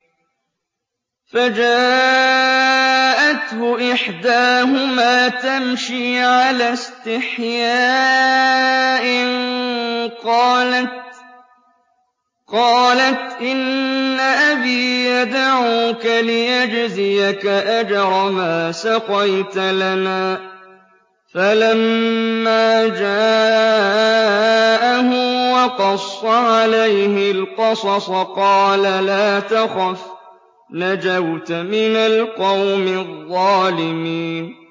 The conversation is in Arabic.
فَجَاءَتْهُ إِحْدَاهُمَا تَمْشِي عَلَى اسْتِحْيَاءٍ قَالَتْ إِنَّ أَبِي يَدْعُوكَ لِيَجْزِيَكَ أَجْرَ مَا سَقَيْتَ لَنَا ۚ فَلَمَّا جَاءَهُ وَقَصَّ عَلَيْهِ الْقَصَصَ قَالَ لَا تَخَفْ ۖ نَجَوْتَ مِنَ الْقَوْمِ الظَّالِمِينَ